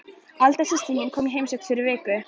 Alda systir kom í heimsókn fyrir viku.